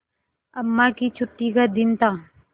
अम्मा की छुट्टी का दिन था